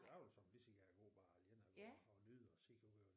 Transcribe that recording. Jeg vil såmænd lige så gerne gå bare alene og gå og nyde og se ud over